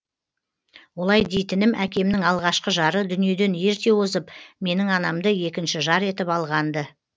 олай дейтінім әкемнің алғашқы жары дүниеден ерте озып менің анамды екінші жар етіп алған ды